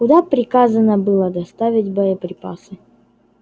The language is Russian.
куда приказано было доставить боеприпасы